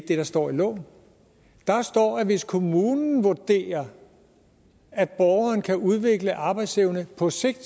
det der står i loven der står at hvis kommunen vurderer at borgeren kan udvikle arbejdsevne på sigt